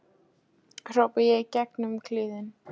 hrópa ég í gegn um kliðinn.